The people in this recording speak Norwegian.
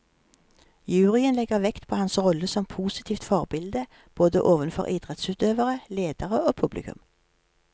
Juryen legger vekt på hans rolle som positivt forbilde, både ovenfor idrettsutøvere, ledere og publikum.